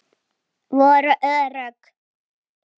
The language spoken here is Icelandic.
Um mig flæddi kaldur bjór.